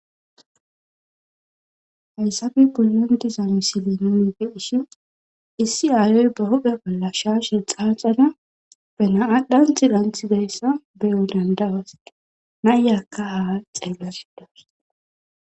haysafe polantiza misile nuni di hishin issi aayoy ba hope bolla shaa she xaaxana bena7adhanthi ranthi dayssa beyo dandabase nayyakka haa xeellasidas